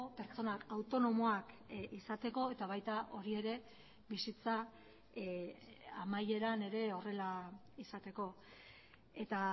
pertsonak autonomoak izateko eta baita hori ere bizitza amaieran ere horrela izateko eta